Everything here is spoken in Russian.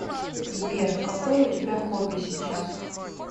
сбер какое у тебя хобби сейчас